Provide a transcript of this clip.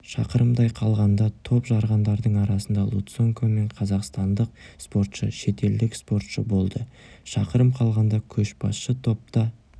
шақырымдай қалғанда топ жарғандардың арасында луценко мен қазақстандық спортшы шетелдік спортшы болды шақырым қалғанда көшбасшы топта